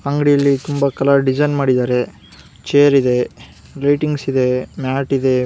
ಅಂಗಡಿ ಅಲ್ಲಿ ತುಂಬಾ ಕಲರ್ ಡಿಸೈನ್ ಮಾಡಿದ್ದಾರೆ ಚೇರ್ ಇದೆ ರೇಟಿಂಗ್ಸ್ ಇದೆ ಮ್ಯಾಟ್ ಇದೆ .